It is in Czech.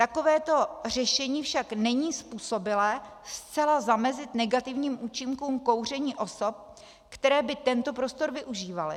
Takovéto řešení však není způsobilé zcela zamezit negativním účinkům kouření osob, které by tento prostor využívaly.